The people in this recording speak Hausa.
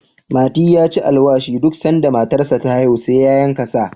mati ya ci alwashi duk sanda matarsa ta haihu sai ya yanka sa